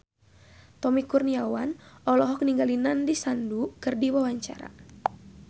Tommy Kurniawan olohok ningali Nandish Sandhu keur diwawancara